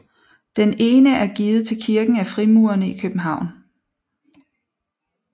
Den ene er givet til kirken af Frimurerne i København